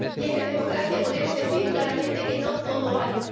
Y es que en democracia podemos decir claramente que no todo vale.